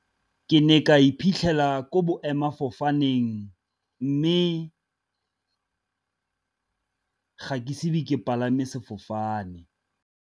Ke ne ka iphitlhela ko boemafofaneng, mme ga ke ise be ke palame sefofane.